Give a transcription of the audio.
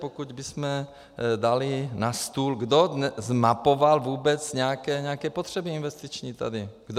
Pokud bychom dali na stůl, kdo zmapoval vůbec nějaké potřeby investiční tady - kdo?